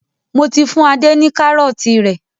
Mò tí fún Ade ni karọ̀ọ̀ti tí rẹ.